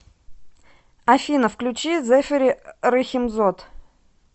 афина включи зэфэри рэхимзод